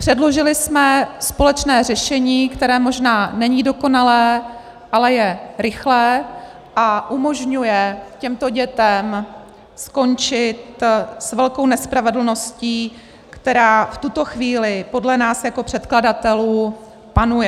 Předložili jsme společné řešení, které možná není dokonalé, ale je rychlé a umožňuje těmto dětem skončit s velkou nespravedlností, která v tuto chvíli podle nás jako předkladatelů panuje.